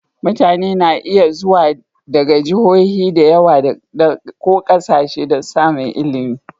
Mutane na iya zuwa daga Jihohi da yawa ko ƙasashe don samun ilimi.